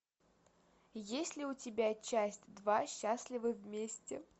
есть ли у тебя часть два счастливы вместе